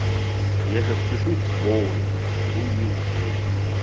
я сейчас спишусь с вовой увижусь с ней